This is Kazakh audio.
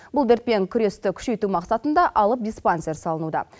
бұл дертпен күресті күшейту мақсатында алып диспансер салынуда